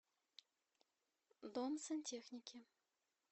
дом сантехники